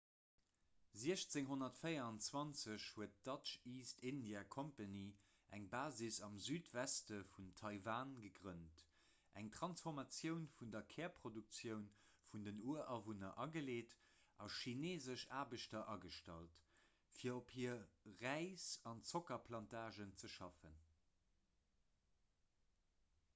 1624 huet d'dutch east india company eng basis am südweste vun taiwan gegrënnt eng transformatioun vun der kärproduktioun vun den urawunner ageleet a chineesesch aarbechter agestallt fir op hire räis an zockerplantagen ze schaffen